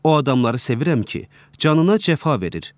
O adamları sevirəm ki, canına cəfa verir.